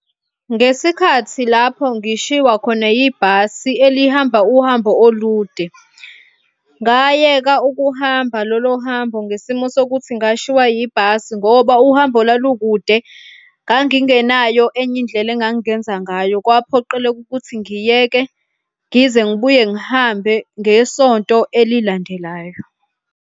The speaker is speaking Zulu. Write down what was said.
Ngesikhathi lapho ngishiwa khona ibhasi elihamba uhambo olude, ngayeka ukuhamba lolo hambo ngesimo sokuthi ngashiwa yibhasi ngoba uhambo lwalukude. Ngangingenayo enye indlela engangingenza ngayo, kwaphoqeleka ukuthi ngiyeke ngize ngibuye ngihambe ngesonto elilandelayo